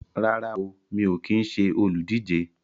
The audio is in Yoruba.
Rárá o, mi ò kín ṣe olùdíje